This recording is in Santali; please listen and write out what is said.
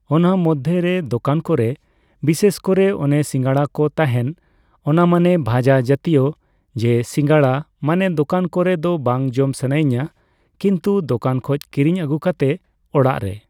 ᱚᱱᱟ ᱢᱚᱫᱽᱫᱷᱮ ᱨᱮ ᱡᱚᱠᱟᱱ ᱠᱚᱨᱮ, ᱵᱤᱥᱮᱥ ᱠᱚᱨᱮ ᱚᱱᱮ ᱥᱤᱸᱜᱲᱟ ᱠᱚ ᱛᱟᱦᱮᱸᱱ ᱚᱱᱟ ᱢᱟᱱᱮ ᱵᱷᱟᱡᱟ ᱡᱟᱛᱤᱭᱚ᱾ ᱡᱮ ᱥᱤᱸᱜᱟᱲᱟ, ᱢᱟᱱᱮ ᱫᱚᱠᱟᱱ ᱠᱚᱨᱮ ᱫᱚ ᱵᱟᱝ ᱡᱚᱢ ᱥᱟᱱᱟᱭᱤᱧᱟ᱾ ᱠᱤᱱᱛᱩ ᱫᱚᱠᱟᱱ ᱠᱷᱚᱡ ᱠᱤᱨᱤᱧ ᱟᱹᱜᱩ ᱠᱟᱛᱮ ᱚᱲᱟᱜ ᱨᱮ